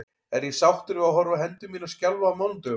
Er ég sáttur við að horfa á hendur mínar skjálfa á mánudögum?